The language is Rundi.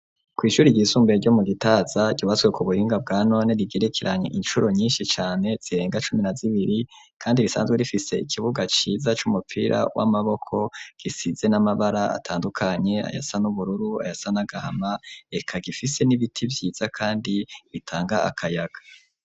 Kw'ishure ry'isumbaye ryo mu gitaza gibaswe ku buringa bwa none rigerekeranye inshuro nyinshi cyane zirenga cumi na zibiri kandi risanzwe rifise ikibuga ciza cy'umupira w'amaboko gisize n'amabara atandukanye ayasan ubururu ayasan agahama reka gifise n'ibiti byiza kandi bitanga akayaga.